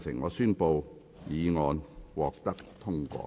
我宣布議案獲得通過。